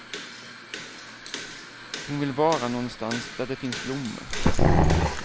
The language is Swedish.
Hon vill vara nånstans där det finns blommor.